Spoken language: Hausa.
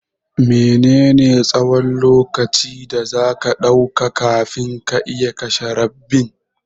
Mene ne tsahon lokaci da zaka ɗauka kafin ka iya kashe rabbin?